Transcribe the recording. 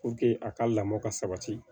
a ka lamɔ ka sabati